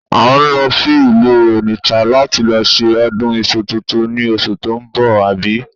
À ń lọ sí ìlú Onitsha láti lọ ṣe ọdún iṣu tuntun ni oṣù tó ń bọ̀, àbí?